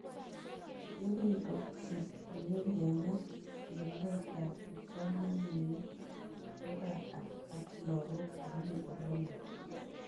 Ye kimkosikichini kenai chikilet ab kipsomanik ko kaa ak lakok che mii oleloo